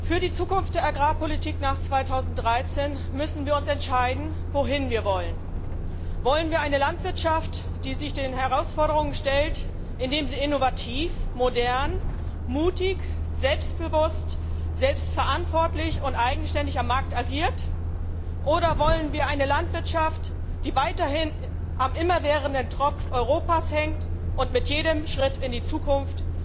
Für die Zukunft der Agrarpolitik nach 2013 müssen wir uns entscheiden, wohin wir wollen. Wollen wir eine Landwirtschaft, die sich den Herausforderungen stellt, indem sie innovativ, modern, mutig, selbstbewusst, selbstverantwortlich und eigenständig am Markt agiert? Oder wollen wir eine Landwirtschaft, die weiterhin am immerwährenden Tropf Europas hängt und mit jedem Schritt in die Zukunft